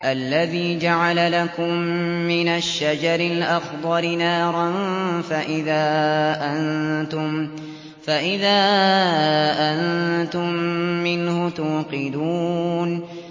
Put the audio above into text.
الَّذِي جَعَلَ لَكُم مِّنَ الشَّجَرِ الْأَخْضَرِ نَارًا فَإِذَا أَنتُم مِّنْهُ تُوقِدُونَ